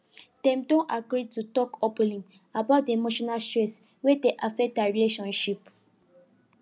dem don agree to talk openly about the emotional stress wey dey affect their relationship